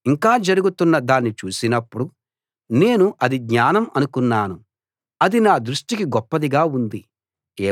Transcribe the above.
ఇంకా జరుగుతున్న దాన్ని చూసినప్పుడు నేను అది జ్ఞానం అనుకున్నాను అది నా దృష్టికి గొప్పదిగా ఉంది